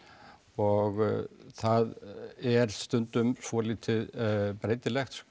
og það er stundum svolítið breytilegt